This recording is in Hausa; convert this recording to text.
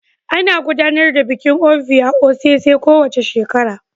Ana gudanar da bikin Ovia osese kowace shekara